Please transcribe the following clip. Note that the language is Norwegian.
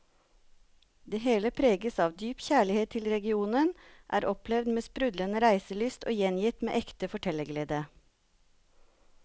Det hele preges av dyp kjærlighet til regionen, er opplevd med sprudlende reiselyst og gjengitt med ekte fortellerglede.